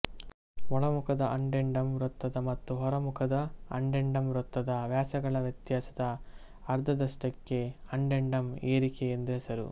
ಒಳಮುಖದ addendum ವೃತ್ತದ ಮತ್ತು ಹೊರಮುಖದ ಅಡೆಂಡಂ ವೃತ್ತದ ವ್ಯಾಸಗಳ ವ್ಯತ್ಯಾಸದ ಅರ್ಧದಷ್ಟಕ್ಕೆ ಅಡೆಂಡಂ ಏರಿಕೆ ಎಂದು ಹೆಸರು